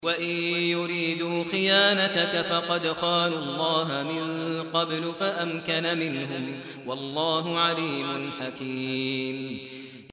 وَإِن يُرِيدُوا خِيَانَتَكَ فَقَدْ خَانُوا اللَّهَ مِن قَبْلُ فَأَمْكَنَ مِنْهُمْ ۗ وَاللَّهُ عَلِيمٌ حَكِيمٌ